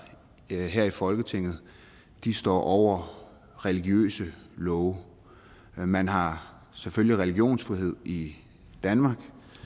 her i folketinget står over religiøse love man har selvfølgelig religionsfrihed i danmark